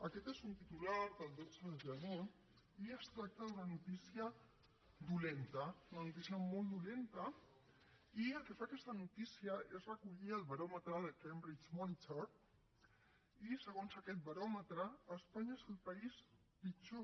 aquest és un titular del dotze de gener i es tracta d’una notícia dolenta una notícia molt dolenta i el que fa aquesta notícia és recollir el baròmetre de cambridge monitor i segons aquest baròmetre espanya és el país pitjor